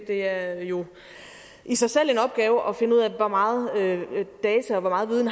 det er jo i sig selv en opgave at finde ud af hvor meget data og hvor meget viden